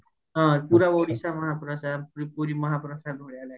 ହଁ ପୁରା ଓଡିଶା ମହା ପ୍ରସାଦ ପୁରୀ ମହା ପ୍ରସାଦ ଭଳିଆ ଲାଗିବ